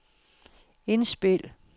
indspil